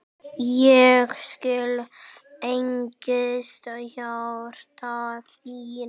Ég skil angist hjarta þíns